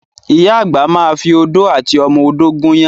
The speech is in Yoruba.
Ìyá àgbà ma fi odó àti ọmọ odó gúnyán.